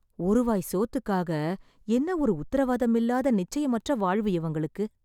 ஒரு வாய் சோத்துக்காக என்ன ஒரு உத்தரவாதமில்லாத நிச்சயமற்ற வாழ்வு இவங்களுக்கு...